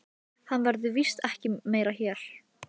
Þar koma einkum tveir kostir til greina.